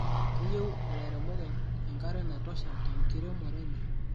Keyieu ilairemok enkare naitosha tenkiremore enye